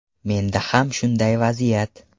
Menda ham shunday vaziyat.